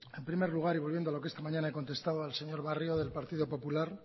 en primer lugar y volviendo a lo que esta mañana he contestado al señor barrio del partido popular